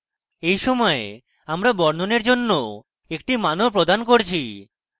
এই সময় আমরা বর্ণনের জন্য একটি মান ও প্রদান করছি